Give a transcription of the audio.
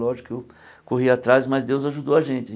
Lógico que eu corri atrás, mas Deus ajudou a gente.